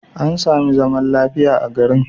An sami zaman lafiya a garin.